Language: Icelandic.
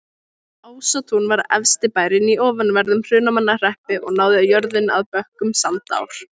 Ásatún var efsti bærinn í ofanverðum Hrunamannahreppi og náði jörðin að bökkum Sandár.